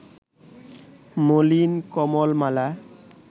মলিন কমল-মালা